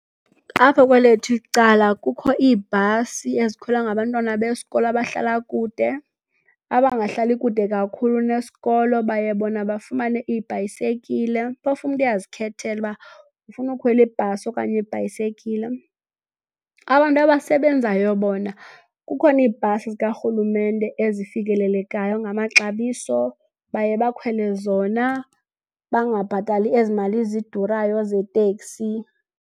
Apha kwelethu icala kukho iibhasi ezikhwelwa ngabantwana besikolo abahlala kude. Abangahlali kude kakhulu nesikolo baye bona bafumane iibhayisekile. Phofu umntu uyazikhethela ukuba ufuna ukukhwela ibhasi okanye ibhayisekile. Abantu abasebenzayo bona kukhona iibhasi zikarhulumente ezifikelelekayo ngamaxabiso, baye bakhwele zona bangabhatali ezi mali zidurayo zeteksi.